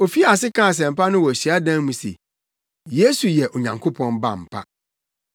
Ofii ase kaa asɛmpa no wɔ hyiadan mu se, Yesu yɛ Onyankopɔn Ba ampa.